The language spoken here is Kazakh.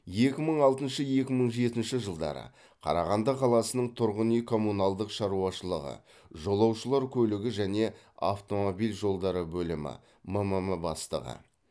екі мың алтыншы екі мың жетінші жылдары қарағанды қаласының тұрғын үй коммуналдық шаруашылығы жолаушылар көлігі және автомобиль жолдары бөлімі мм бастығы